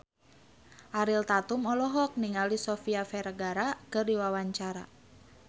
Ariel Tatum olohok ningali Sofia Vergara keur diwawancara